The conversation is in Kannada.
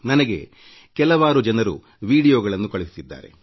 ನನಗೆ ಹಲವು ಜನರು ವಿಡಿಯೋಗಳನ್ನು ಕಳಿಸಿದ್ದಾರೆ